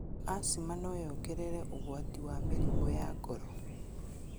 Asthma noyongerere ũgwati wa mĩrimũ ya ngoro.